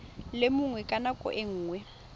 le mongwe ka nako nngwe